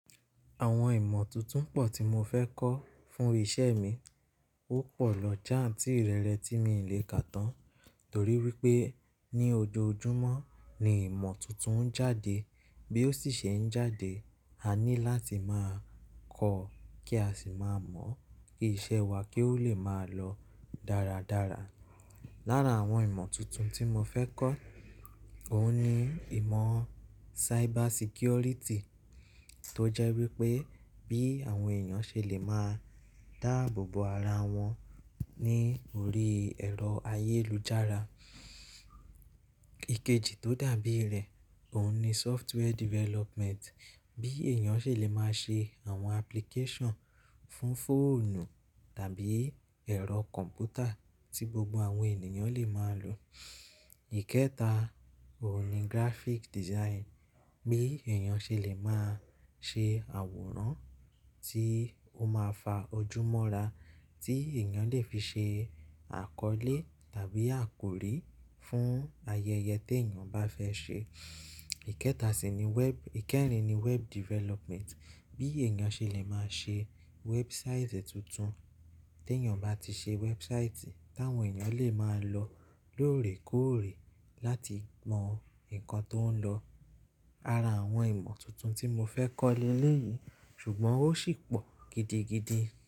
Àwọn ìmọ̀ tuntun pọ̀ tí mo fẹ́ kọ́ fún iṣẹ́ mi. Ó pọ̀ lọ jáǹtì ìrẹ́rẹ́ tí mi le kà tán, torí wípé ní ojoojúmọ́ ni ìmọ̀ tuntun ń jáde. Bí ó sì ṣe ń jáde, a ní láti máa kọ́ kí a sì máa mọ̀ o kí iṣẹ́ wa kí ó lè máa lọ dáradára. Lára àwọn ìmọ̀ tuntun tí mo fẹ́ kọ́, òun ni ìmọ̀ cyber security tó jẹ́ wípé bí àwọn èèyàn ṣe lè máa dáàbòbò ara wọn ní orí ẹ̀rọ ayélujára. Ikeji tó dàbí rẹ̀, òun ni software development. Bí èèyàn ṣe lè máa ṣe àwọn application fún fóònù tàbí ẹ̀rọ kọ̀m̀pútà tí gbogbo àwọn ènìyàn lè máa lò. Ikẹta, òun ni graphic design. Bí èèyàn ṣe lè máa ṣe àwòrán tí ó máa fa ojúmọ́ra, tí èèyàn lè fi ṣe àkọ́lé tàbí àkórí fún ayẹyẹ tèèyàn bá fẹ́ ṣe. Ikẹta sì ni wẹb-- ìkẹrin ni web development. Bí èèyàn ṣe lè máa ṣe website tuntun. Tí èèyàn bá ti ṣe website tàwọn èèyàn lè máa lọ lóòrèkóòrè láti mọ nǹkan tó ń lọ. Ara àwọn ìmọ̀ tuntun tí mo fẹ́ kọ́ leléyìí, ṣùgbọ́n ó sì pọ̀ gidigidi.